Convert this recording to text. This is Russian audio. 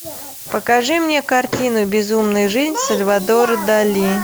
покажи мне картину безумная жизнь сальвадора дали